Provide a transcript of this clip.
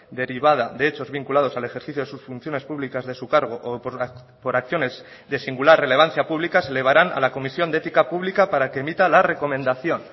derivada de hechos vinculados al ejercicio de sus funciones públicas de su cargo o por acciones de singular relevancia pública se elevarán a la comisión de ética pública para que emita la recomendación